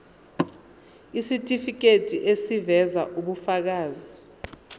isitifiketi eziveza ubufakazi